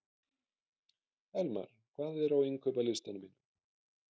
Elmar, hvað er á innkaupalistanum mínum?